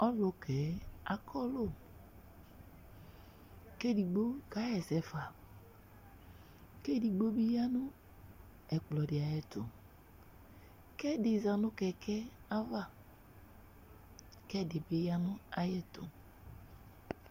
Ɔlʊkɛ akɔlʊ, kedɩgbo ka ƴɛsɛ fa, kedɩgbo bɩ ƴa nʊbɛkplɔ bɩ aƴɛtʊ, kɛdɩ za nʊ kɛkɛ ava kɛdɩ bɩ ya nʊ aƴɛtʊ